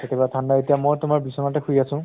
কেতিয়াবা ঠান্দা এতিয়া মই তোমাৰ বিচনাতে শুই আছো